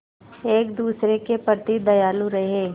एक दूसरे के प्रति दयालु रहें